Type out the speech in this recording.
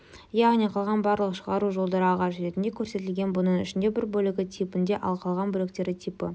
яғни қалған барлық шығару жолдары ағашы ретінде көрсетілген бұның ішінде бір бөлігі типінде ал қалған бөліктері типі